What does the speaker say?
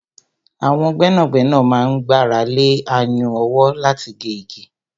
Àwọn gbẹ́nàgbẹ́nà máa ń gbára lé ayùn ọwọ́ láti gé igi.